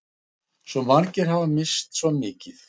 Svo margir hafa misst svo mikið.